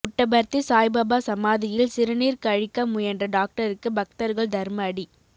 புட்டபர்த்தி சாய்பாபா சமாதியில் சிறுநீர் கழிக்க முயன்ற டாக்டருக்கு பக்தர்கள் தர்மஅடி